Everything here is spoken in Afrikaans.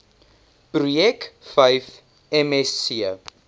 projek vyf msc